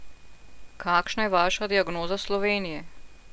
Kakšna je vaša diagnoza Slovenije?